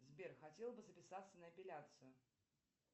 сбер хотела бы записаться на эпиляцию